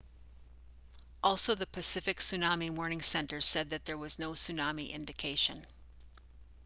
also the pacific tsunami warning center said that there was no tsunami indication